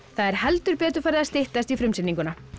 það er heldur betur farið að styttast í frumsýninguna